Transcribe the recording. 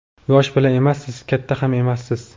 Yosh bola emassiz, katta ham emassiz.